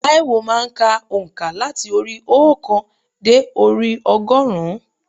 Tâíwò má a n ka ònkà láti orí i óòkan dé orí i ọgọ́rùn-ún